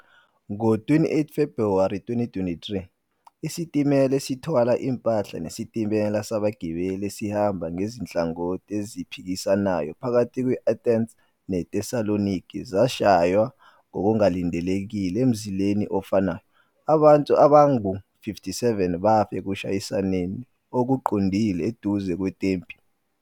Ngo-28 February 2023, isitimela esithwala impahla nesitimela sabagibeli esihamba ngezinhlangothi eziphikisanayo phakathi kwe-Athens neThessaloniki zashaywa ngokungalindelekile emzileni ofanayo, abantu abangu-57 bafa ekushayisaneni okuqondile eduze kweTempi.